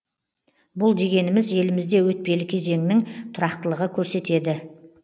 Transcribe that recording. бұл дегеніміз елімізде өтпелі кезеңнің тұрақтылығы көрсетеді